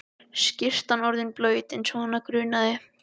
Skyrtan orðin blaut eins og hana grunaði.